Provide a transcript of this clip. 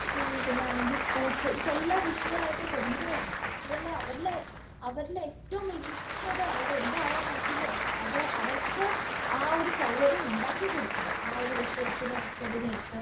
പിന്നാണെങ്കി sports ഇതെല്ലാം വിഷയായിട്ട് കൊണ്ടുവരണം. കുട്ടികളെ അവരിലെ അവരിലെ ഏറ്റവും മികച്ചത് അവർ എന്താവാൻ പറ്റുന്നോ അത് അവർക്ക് ആ ഒരു സൗകര്യം ഉണ്ടാക്കി കൊടുക്കണം. ആ ഒരു വിഷയത്തിനെ തിരഞ്ഞെടുത്ത്